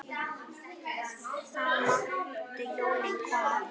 Þá máttu jólin koma.